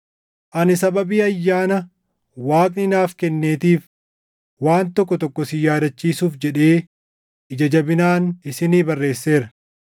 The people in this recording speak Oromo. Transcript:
Ani sababii ayyaana Waaqni naaf kenneetiif waan tokko tokko isin yaadachiisuuf jedhee ija jabinaan isinii barreesseera;